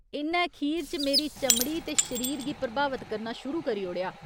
इ'न्नै खीर च मेरी चमड़ी ते शरीर गी प्रभावत करना कर शुरू करी ओड़ेआ।